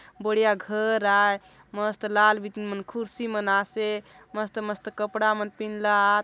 बढ़िया घर आय मस्त लाल बीतिन मन कुर्सी मन आसे मस्त-मस्त कपड़ा मन पिँध ला आत।